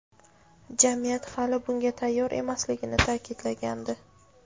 jamiyat hali bunga tayyor emasligini ta’kidlagandi.